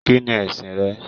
Kínní ẹsìn rẹ.